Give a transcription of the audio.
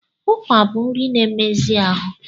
Ụkwa bụ nri na-emezi ahụ.